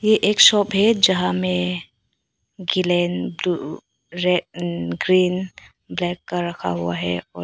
ये एक शॉप है जहां में ब्लू रेड ग्रीन ब्लैक का रखा हुआ है।